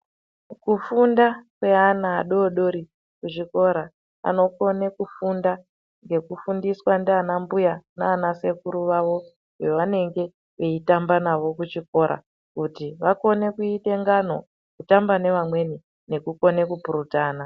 Kufunda kweana adodori kuchikora anokone kufunda ngekufundiswa ndiana mbuya nana sekuru vavo vavanenge veitamba navo kuchikora kuti vakonge kuite ngano kutamba nevamweni nekukone kupurutana.